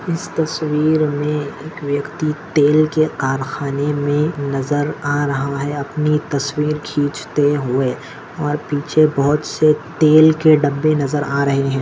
इस तस्वीर मे एक व्यक्ति तेल के कारखाने मे नजर आ रहा है अपनी तस्वीर खिचते हुए और पीछे बहुत से तेल के डबे नजर आ रहे है।